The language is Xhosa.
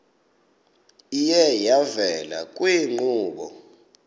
iye yavela kwiinkqubo